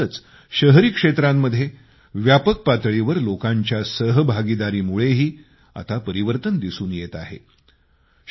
ग्रामीण तसंच शहरी क्षेत्रांमध्ये व्यापक पातळीवर लोकांच्या सहभागामुळेही आता परिवर्तन दिसून येत आहे